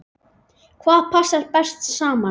Hvað passar best saman?